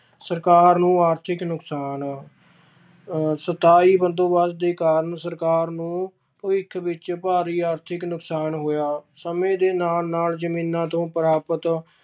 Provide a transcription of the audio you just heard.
ਸਰਕਾਰ ਨੂੰ ਆਰਥਿਕ ਨੁਕਸਾਨ ਅਹ ਸਥਾਈ ਬੰਦੋਬਸਤ ਦੇ ਕਾਰਨ ਸਰਕਾਰ ਨੂੰ ਭਵਿੱਖ ਵਿੱਚ ਭਾਰੀ ਆਰਥਿਕ ਨੁਕਸਾਨ ਹੋਇਆ, ਸਮੇਂ ਦੇ ਨਾਲ ਨਾਲ ਜ਼ਮੀਨਾਂ ਤੋਂ ਪ੍ਰਾਪਤ